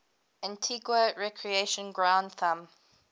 antigua recreation ground thumb